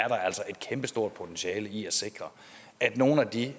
er altså et kæmpe stort potentiale i at sikre at nogle af de